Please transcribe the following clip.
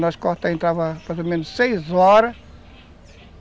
Nós cortava, entrava, mais ou menos, seis horas.